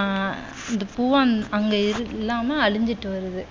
அஹ் இந்த பூவும் அது அங்கு இல்லாம அழிஞ்சிட்டு வருது